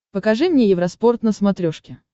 покажи мне евроспорт на смотрешке